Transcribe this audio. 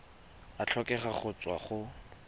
a tlhokega go tswa go